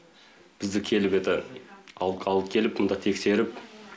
бізді келіп еді алып қалып келіп мында тексеріп